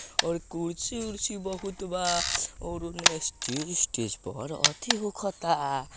--और कुर्सी उर्सी बहुत बा और उने स्टेज वेस्टेज पर अथि होके ता।